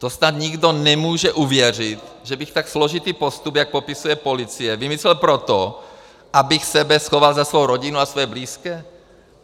To snad nikdo nemůže uvěřit, že bych tak složitý postup, jak popisuje policie, vymyslel proto, abych sebe schoval za svou rodinu a svoje blízké.